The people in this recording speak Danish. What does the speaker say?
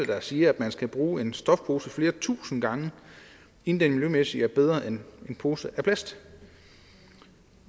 der siger at man skal bruge en stofpose flere tusind gange inden den miljømæssigt er bedre end en pose af plast